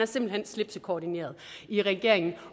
simpelt hen slipsekoordineret i regeringen